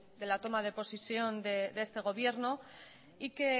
de la toma de posesión de este gobierno y que